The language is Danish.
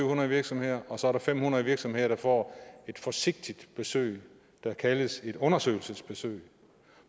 hundrede virksomheder og så er der fem hundrede virksomheder der får et forsigtigt besøg der kaldes et undersøgelsesbesøg